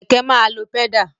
Kẹ̀kẹ́ máa lo pẹ́dà.